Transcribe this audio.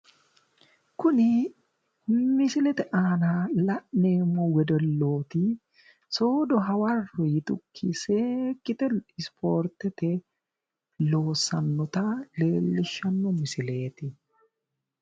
Kuni misilete aana la'neemmo wedellooti soodo hawarro yitukki seekkite isipoortete loossannota leellishshanno misileeti.